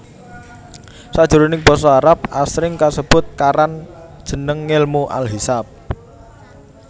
Sakjroning basa Arab asring kasebut karan jeneng ngèlmu al Hisab